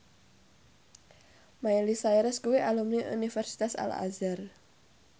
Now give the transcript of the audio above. Miley Cyrus kuwi alumni Universitas Al Azhar